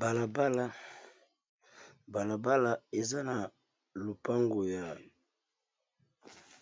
Bala bala, bala bala eza na